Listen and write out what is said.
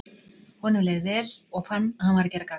Honum leið leið vel, og fann að hann var að gera gagn.